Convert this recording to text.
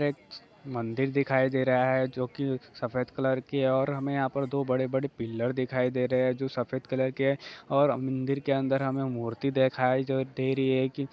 एक मंदिर दिखाई दे रहा है जो की सफ़ेद कलर की है और हमें यहाँ पर दो बड़े-बड़े पिलर दिखाई दे रहे है जो सफ़ेद कलर के है ओर मंदिर के अंदर हमें मूर्ति देखाई जो दे रही है --